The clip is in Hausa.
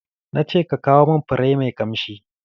Na ce ka kawo mun fure mai kamshi!